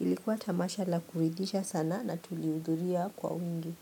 Ilikuwa tamasha la kuridhisha sana, na tulihudhuria kwa wingi.